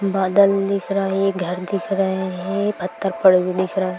बादल दिख रहा है घर दिख रहा है पत्थर पड़ हुय दिख रहा --